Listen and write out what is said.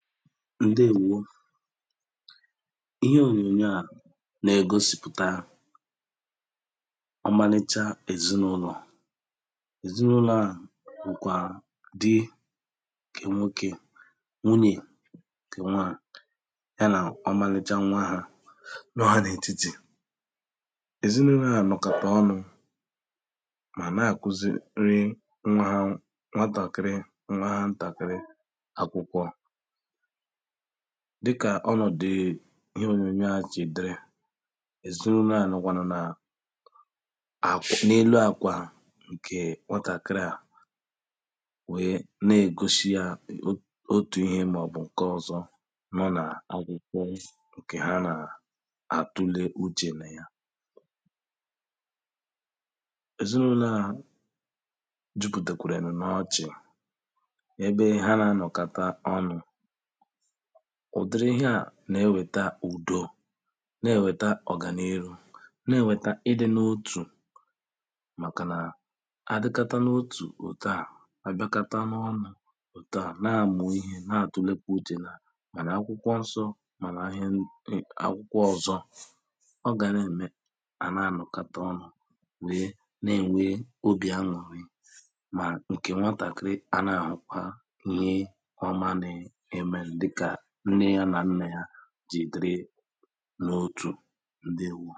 ǹdewōō ihe onyonyo a nà-ègosìpụ̀ta ọmalịcha èzinàụlọ̀ à èzinàụlọ̀ à bụ̀kwà dị ǹkè nwokè nwunyè ǹkè nwa ya nà ọmalịcha nwa hā nọ hà nà ètitì èzinàụlọ̀ à nọ̀kàtà ọnụ̀ mà na kuziri nwa hā wụ̄ nwatàkịrị nwa ha ntàkịrị akwụkwọ dịkà ọnọ̀dị̀ ihe òyònyò a jì diri èzinàụlọ̀ a nọ̀kwànụ̀ nà àfsh n’elu akwa nkè nwatàkịrị à wēē na-egoshi yā otù ihe màọ̀bụ̀ ǹke ọzọ̄ nọ nà akwụkwọ ǹkè ha nà àtụle uchè nà ya èzinàụlọ̀ à jupùtèkwèrè n’ọchị̀ ebe ha nà anọ̀kata ọnụ̄ ụ̀dịrị yā na-enwētā ụ̀dọ na-enwētā ọ̀gànịrụ na-enwētā idi n’otù màkànà àdịkata n’otù òtù a àbịakata n’ọnụ̄ òtù a na-amụ̀ ihe na-atụ̄lēkwā uchè nà màrà akwụkwọ nsọ̄ màrà ihe dị̀ akwụkwọ ọzọ̄ ọ gà nà-emē hà na nọ̀kata ọnụ̄ wēē nà-ènwe obì anụ̀rị mà nke nwatàkịrị a nà hà hụkwa nye ọma niihī n’eme ndịkà nne yā nà nnà ya jì diri n’òtù ǹdewō